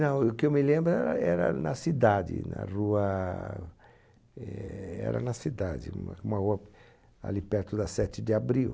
Não, o que eu me lembro era era na cidade, na rua, é... Era na cidade, uma rua ali perto da sete de abril.